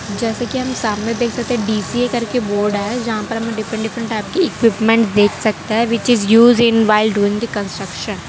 जैसे कि हम हमने देख सकते है डी_सी_ए करके बोर्ड है जहां पर हमें डिफरेंट डिफरेंट टाइप की इक्विपमेंट देख सकता है which is used in while doing the construction.